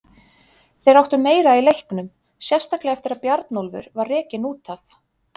Þeir áttu meira í leiknum, sérstaklega eftir að Bjarnólfur var rekinn út af.